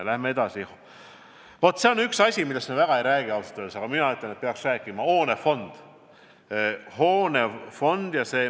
Läheme edasi: üks asi, millest me ausalt öeldes väga ei räägi, aga mina ütlen, et peaks rääkima, on hoonefond.